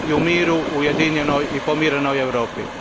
u miru ujedinjenoj i pomirenoj Europi.